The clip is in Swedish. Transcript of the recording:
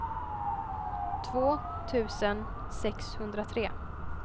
två tusen sexhundratre